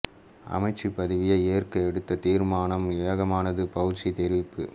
அமைச்சுப் பதவியை ஏற்க எடுத்த தீர்மானம் ஏகமனதானது பௌஸி தெரிவிப்பு